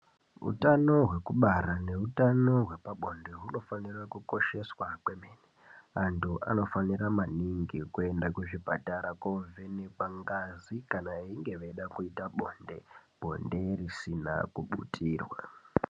Hutano hwekubara nehutano hwepabonde hunofanira kukosheswa kwemene antu anofanira maningi kuenda kuzvipatara kovhenekwa ngazi kana veida kuita bonde bonde risina kuputirwa.